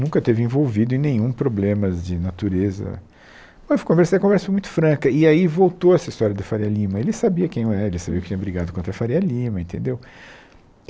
Nunca esteve envolvido em nenhum problemas de natureza, mas conversei foi uma conversa muito franca, e aí voltou essa história do Fária Lima, ele sabia quem eu era, ele sabia que eu tinha brigado contra a Fária Lima, entendeu?